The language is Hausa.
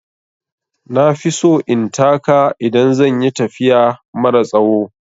Na fi so in taka idan zan yi tafiya mara tsawo.